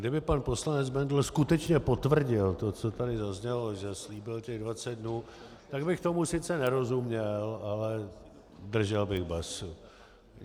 Kdyby pan poslanec Bendl skutečně potvrdil to, co tady zaznělo, že slíbil těch 20 dnů, tak bych tomu sice nerozuměl, ale držel bych basu.